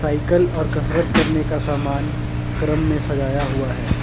Cycle और कसरत करने का सामान क्रम में सजाया हुआ है।